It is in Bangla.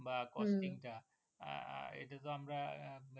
বা Costing টা আহ এটা তো আপনার